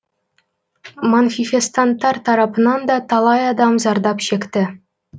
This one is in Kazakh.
манфифестанттар тарапынан да талай адам зардап шекті